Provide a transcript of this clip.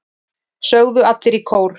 sögðu allir í kór.